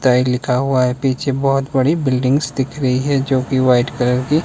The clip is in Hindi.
टाइड लिखा हुआ है पीछे बहुत बड़ी बिल्डिंग्स दिख रही है जो की वाइट कलर की--